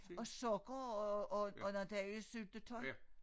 Og sukker og og og noget dejlig syltetøj